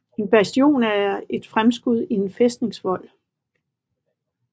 En bastion er et fremskud i en fæstningsvold